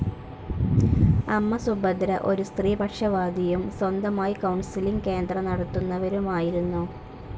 അമ്മ സുഭദ്ര ഒരു സ്ത്രീപക്ഷവാദിയും സ്വന്തമായി കൌൺസിലിംഗ്‌ കേന്ദ്രം നടത്തിയിരുന്നവരുമായിരുന്നു.